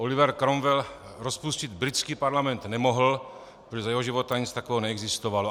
Oliver Cromwell rozpustit britský parlament nemohl, protože za jeho života nic takového neexistovalo.